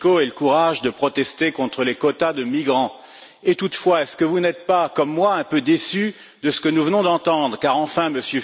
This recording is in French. Fico ait le courage de protester contre les quotas de migrants. Toutefois, n'êtes vous pas, comme moi, un peu déçu de ce que nous venons d'entendre, car enfin, M.